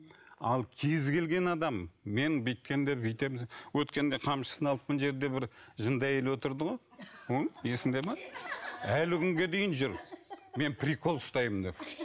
ал кез келген адам мен бүйткенде бүйтемін өткенде қамшысын алып мына жерде бір жынды әйел отырды ғой есіңде ме әлі күнге дейін жүр мен прикол ұстаймын деп